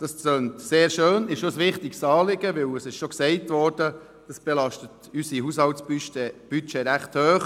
» Das tönt sehr schön und ist auch ein wichtiges Anliegen, weil dies – es ist bereits gesagt worden – unser Haushaltsbudget recht hoch belastet.